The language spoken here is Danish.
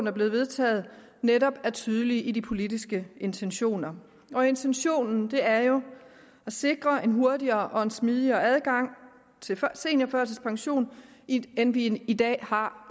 er blevet vedtaget netop er tydelige i deres politiske intentioner og intentionen er jo at sikre en hurtigere og en smidigere adgang til seniorførtidspension end vi i dag har